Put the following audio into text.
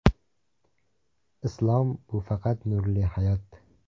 Islom bu faqat nurli hayot.